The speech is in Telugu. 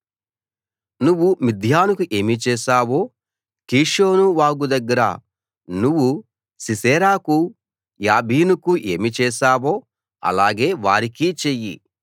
నువ్వు మిద్యానుకు ఏమి చేశావో కీషోను వాగు దగ్గర నువ్వు సీసెరాకు యాబీనుకు ఏమి చేశావో అలాగే వారికి చెయ్యి